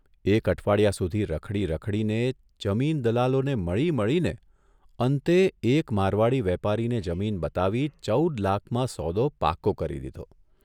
એક અઠવાડિયા સુધી રખડી રખડીને, જમીન દલાલોને મળી મળીને અંતે એક મારવાડી વેપારીને જમીન બતાવી ચૌદ લાખમાં સોદો પાકો કરી દીધો.